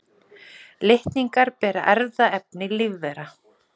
Litningar bera erfðaefni lífvera.